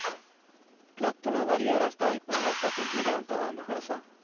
Plattorna varierar starkt men är oftast intelligenta och ambitiösa.